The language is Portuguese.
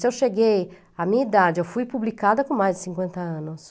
Se eu cheguei à minha idade, eu fui publicada com mais de cinquenta anos.